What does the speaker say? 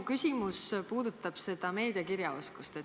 Minu küsimus puudutab meediakirjaoskust.